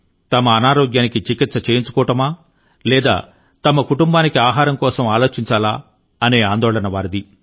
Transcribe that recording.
తమ అనారోగ్యానికి చికిత్స చేయించుకోవడమా లేదా తమ కుటుంబానికి ఆహారం కోసం ఆలోచించాలా అనే ఆందోళన వారిది